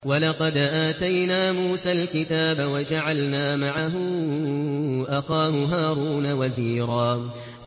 وَلَقَدْ آتَيْنَا مُوسَى الْكِتَابَ وَجَعَلْنَا مَعَهُ أَخَاهُ هَارُونَ وَزِيرًا